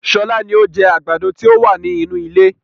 Sọlá ni ó jẹ àgbàdo ti o wa ni inú ilé